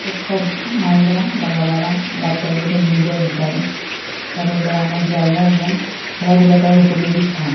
ও সব মায়েরা বা বাবারা বাচ্চাগুলোকে নিয়ে যায় বিকালে। তাদের বেড়ানোর জায়গা এবং খেলাধুলা করার উপযোগী স্থান।